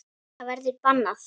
Það verður bannað.